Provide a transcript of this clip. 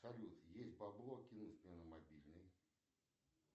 салют есть бабло кинуть мне на мобильный